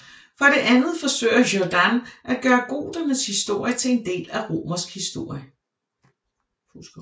For det andet forsøger Jordanes at gøre goternes historie til en del af romersk historie